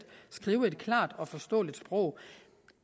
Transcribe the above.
skrive et klart og forståeligt sprog